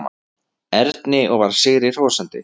Erni og var sigri hrósandi.